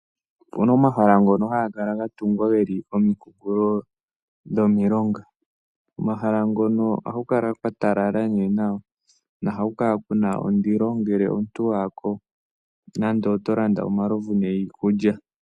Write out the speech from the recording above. Opuna omahala ngono haga kala ga tungwa geli komikunkulo dho milonga, omahala ngono oha kukala kwatalala nee nawa noha kukala kuna ondilo ngele omuntu wayako nande oto landa omalovu niikulya.